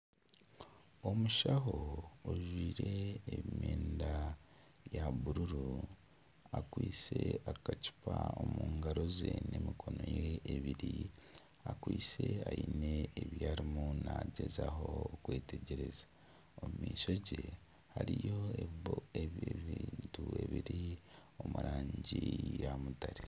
Omushaho ojwaire emyenda ya bururu akwaitse akacupa omu ngaro ze n'emikono ye ebiri. Akwaitse aine ebi arimu naagyezaho kwetegyereza. Omu maisho ge hariyo ebintu ebiri omu rangi ya mutare.